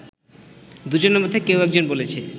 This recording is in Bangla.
দুজনের মধ্যে কেউ একজন বলেছে